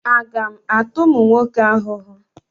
Aga m ata ụmụ nwoke ahụhụ?